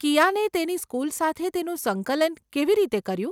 કિયાને તેની સ્કુલ સાથે તેનું સંકલન કેવી રીતે કર્યું?